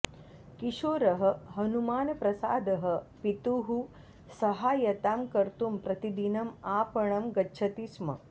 किशोरः हनुमानप्रसादः पितुः सहायतां कर्तुं प्रतिदिनम् आपणं गच्छति स्म